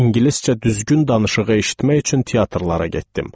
İngiliscə düzgün danışığı eşitmək üçün teatrlara getdim.